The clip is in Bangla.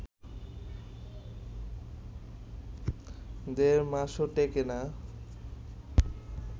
দেড় মাসও টেকে না